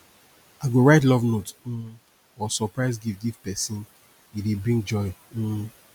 i go write love note um or surprise gift give pesin e dey bring joy um